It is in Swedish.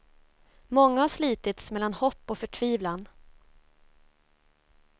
Många har slitits mellan hopp och förtvivlan.